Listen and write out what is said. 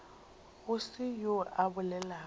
go se yoo a bolelago